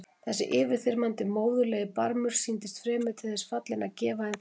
Þessi yfirþyrmandi móðurlegi barmur sýndist fremur til þess fallinn að gefa en þiggja.